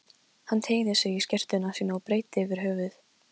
Hann teygði sig í skyrtuna sína og breiddi yfir höfuð.